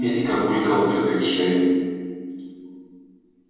петька булькал дыркой в шее